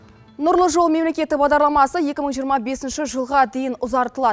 нұрлы жол мемлекеті бағдарламасы екі мың жиырма бесінші жылға дейін ұзартылады